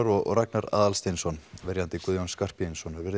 og Ragnar Aðalsteinsson verjandi Guðjóns Skarphéðinssonar